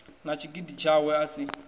na tshigidi tshawe a si